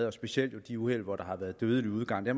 og specielt de uheld hvor der har været dødelig udgang vi